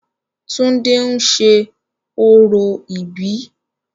túndé ń ṣe orò ìbí